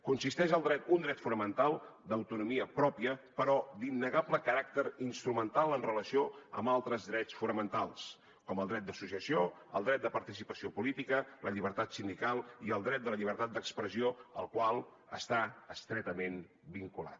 constitueix un dret fonamental d’autonomia pròpia però d’innegable caràcter instrumental en relació amb altres drets fonamentals com el dret d’associació el dret de participació política la llibertat sindical i el dret de la llibertat d’expressió al qual està estretament vinculat